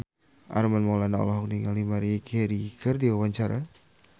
Armand Maulana olohok ningali Maria Carey keur diwawancara